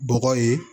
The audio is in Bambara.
Bɔgɔ ye